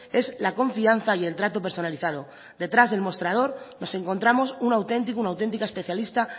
es la confianza y el trato personalizado detrás del mostrador nos encontramos un auténtico una auténtica especialista